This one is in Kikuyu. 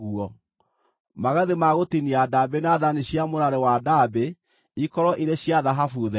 Magathĩ ma gũtinia ndaambĩ na thaani cia mũrarĩ wa ndaambĩ ikorwo irĩ cia thahabu therie.